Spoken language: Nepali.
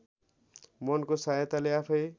मनको सहायताले आफैँ